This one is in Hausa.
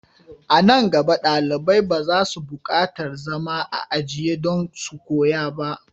A nan gaba, dalibai ba za su bukatar zama a ajiya don su koya ba.